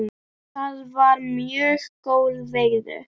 Það var mjög góð veiði.